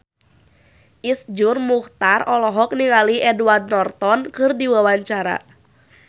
Iszur Muchtar olohok ningali Edward Norton keur diwawancara